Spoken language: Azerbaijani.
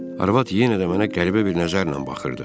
Arvad yenə də mənə qəribə bir nəzərlə baxırdı.